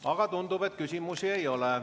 Aga tundub, et küsimusi ei ole.